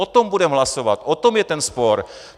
O tom budeme hlasovat, o tom je ten spor.